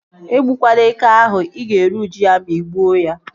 E gbukwana eke ahụ! Ị ga-eri uju ya ma ị gbuo ya